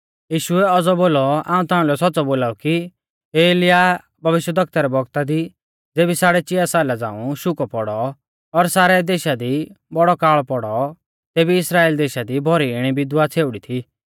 यीशुऐ औज़ौ बोलौ हाऊं ताउंलै सौच़्च़ौ बोलाऊ कि एलियाह भविष्यवक्ता रै बौगता दी ज़ेबी साड़ै चिया साला झ़ांऊ शुकौ पौड़ौ और सारै देशा दी बौड़ौ काल़ पौड़ौ तेबी इस्राइल देशा दी भौरी इणी विधवा छ़ेउड़ी थी